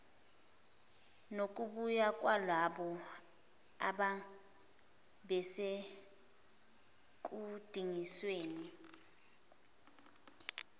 nokubuya kwalabo ababesekudingisweni